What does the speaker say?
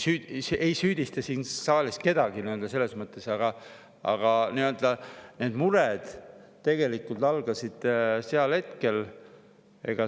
Ma ei süüdista siin saalis kedagi selles mõttes, aga need mured algasid sel hetkel.